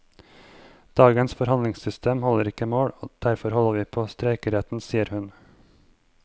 Dagens forhandlingssystem holder ikke mål, derfor holder vi på streikeretten, sier hun.